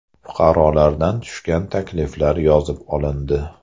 Fuqarolardan tushgan takliflar yozib olindi.